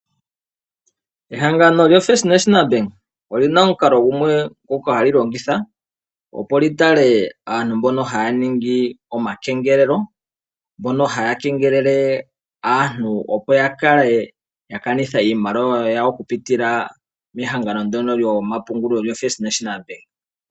Ehangano lyoFirst National Bank olina omukalo gumwe ngoka hali longitha opo lyitale aantu mboka haya ningi omakengelelo, mboka haya kengelele aantu opo yakale yakanitha iimaliwa yawo okupitila mehangano ndyoka lyomapungulo lyoFirst National Bank.